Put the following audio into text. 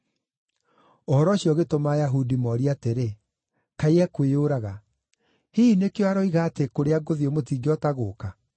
Ũhoro ũcio ũgĩtũma Ayahudi morie atĩrĩ, “Kaĩ ekwĩyũraga? Hihi nĩkĩo aroiga atĩ, ‘Kũrĩa ngũthiĩ mũtingĩhota gũũka’?”